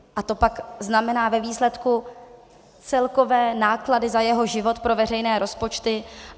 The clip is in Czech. A to pak znamená ve výsledku celkové náklady za jeho život pro veřejné rozpočty.